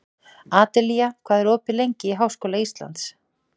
Adelía, hvað er opið lengi í Háskóla Íslands?